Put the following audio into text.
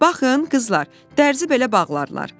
Baxın, qızlar, dərzi belə bağlarlar.